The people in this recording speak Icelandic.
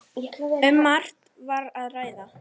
Um margt var að ræða.